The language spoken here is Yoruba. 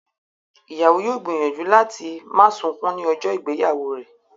Ìyàwó yóò gbìyànjú láti má sunkún ní ọjọ́ ìgbéyàwó rẹ̀